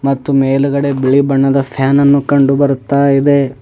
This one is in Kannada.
ಮತ್ತು ಮೇಲ್ಗಡೆ ಬಿಳಿ ಬಣ್ಣದ ಫ್ಯಾನ್ ಅನ್ನು ಕಂಡು ಬರ್ತಾ ಇದೆ.